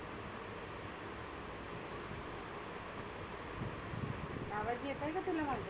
आवाज येतय का तुला माझा?